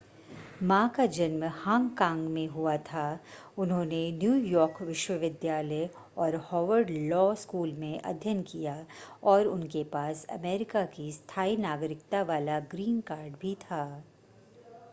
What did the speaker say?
मा का जन्म हांगकांग में हुआ था उन्होंने न्यूयॉर्क विश्वविद्यालय और हार्वर्ड लॉ स्कूल में अध्ययन किया और उनके पास अमेरिका की स्थाई नागरिकता वाला ग्रीन कार्ड भी था